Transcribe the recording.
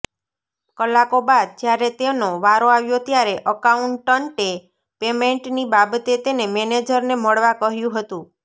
કલાકો બાદ જ્યારે તેનો વારો આવ્યો ત્યારે અકાઉન્ટન્ટે પેમેન્ટની બાબતે તેને મેનેજરને મળવા કહ્યું હતું